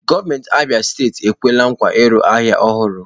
Gọvanọ Abia steeti ekwela nkwa ịrụ ahịa ọhụrụ.